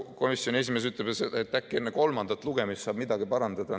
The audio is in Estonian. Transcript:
Komisjoni esimees ütleb, et äkki enne kolmandat lugemist saab midagi parandada.